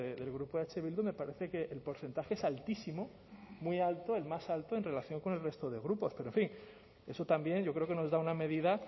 del grupo eh bildu me parece que el porcentaje es altísimo muy alto el más alto en relación con el resto de grupos pero en fin eso también yo creo que nos da una medida